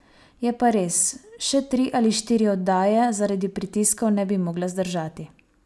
Je pa res, še tri ali štiri oddaje zaradi pritiskov ne bi mogla zdržati.